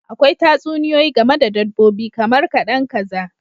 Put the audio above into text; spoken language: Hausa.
Akwai Tatsuniyoyi game da dabbobi kamar kadan kaza